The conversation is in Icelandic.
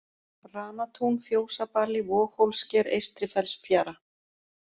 Ranatún, Fjósabali, Vogshólssker, Eystri-Fellsfjara